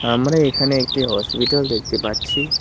আমরা এখানে একটি হসপিটাল দেখতে পাচ্ছি।